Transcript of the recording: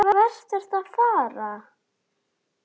Hvert ertu að fara?